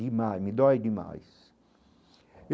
Demais, me dói demais